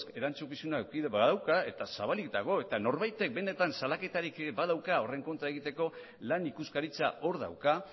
erantzukizunak eduki ere badauka eta zabalik dago eta norbaitek benetan salaketarik badauka horren kontra egiteko lan ikuskaritza hor dauka